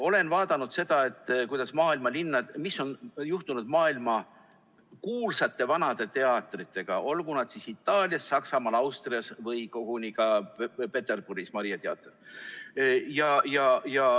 Olen vaadanud seda, mis on juhtunud maailmakuulsate vanade teatritega, olgu nad siis Itaalias, Saksamaal, Austrias või koguni Peterburis, kus on Maria teater.